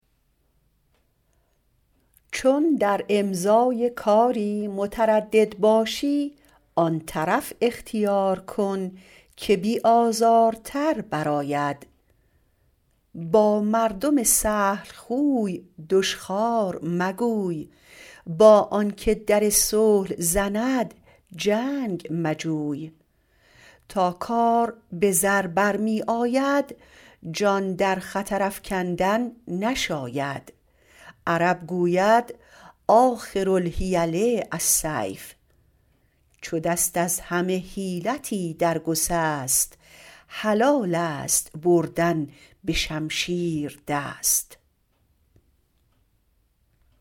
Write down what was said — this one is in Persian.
چون در امضای کاری متردد باشی آن طرف اختیار کن که بی آزارتر بر آید با مردم سهل خوی دشخوار مگوی با آن که در صلح زند جنگ مجوی تا کار به زر برمی آید جان در خطر افکندن نشاید عرب گوید آخر الحیل السیف چو دست از همه حیلتی در گسست حلال است بردن به شمشیر دست